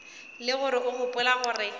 le gore o gopola gore